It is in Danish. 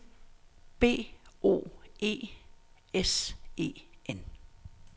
B O E S E N